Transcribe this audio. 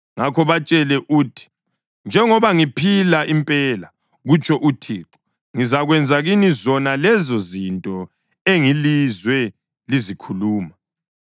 Ngakho batshele uthi, ‘Njengoba ngiphila impela, kutsho uThixo, ngizakwenza kini zona lezozinto engilizwe lizikhuluma.